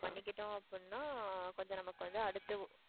பண்ணிக்கிட்டோம் அப்படின்னா கொஞ்சம் நமக்கு வந்து அடுத்து